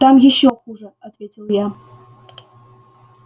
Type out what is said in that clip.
там ещё хуже ответил я